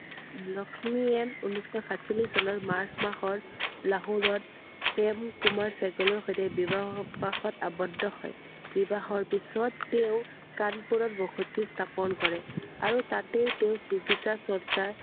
লক্ষ্মীয়ে ঊনৈছ শ সাতচল্লিচ চনত মাৰ্চ মাহৰ লাহোৰত প্ৰেম কুমাৰ চেহ্গালৰ সৈতে বিবাহপাশত আৱদ্ধ হয়। বিবাহৰ পিছত তেওঁ কানপুৰত বসতি স্থাপন কৰে আৰু তাতে তেওঁ চিকিৎসা চৰ্চা